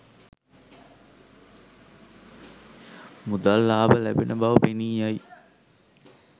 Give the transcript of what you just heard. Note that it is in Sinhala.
මුදල් ලාභ ලැබෙන බව පෙනී යයි.